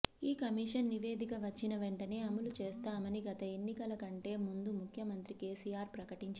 ఈ కమిషన్ నివేదిక వచ్చిన వెంటనే అమలు చేస్తామని గత ఎన్నికల కంటే ముందు ముఖ్యమంత్రి కేసీఆర్ ప్రకటించారు